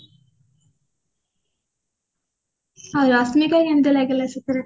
ଆଉ ରଶ୍ମିକା କେମତି ଲାଗିଲା